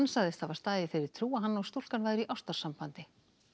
sagðist hafa staðið í þeirri trú að hann og stúlkan væru í ástarsambandi